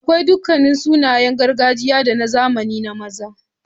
Akwai duk sunaye na gargajiya da na zamani na maza.